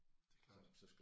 Det er klart